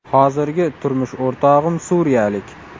Hozirgi turmush o‘rtog‘im suriyalik.